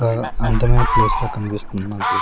ఆ అందమైన ప్లేస్ లా కనిపిస్తుంది మనకిది.